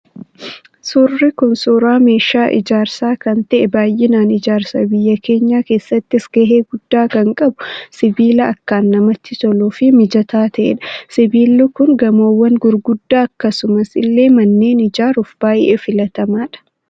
Suurri kun, suuraa meeshaa ijaarsaa kan ta'e, baayyinaan ijaarsa biyya keenyaa keessattis gahee guddaa kan qabu, sibiila akkaan namatti toluu fi mijataa ta'edha. Sibiilli Kun gamoowwan gurguddaa akkasuma illee manneen ijaaruuf baayyee filatamaadha.